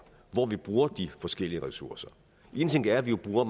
hvor vi bruger de forskellige ressourcer én ting er at vi jo bruger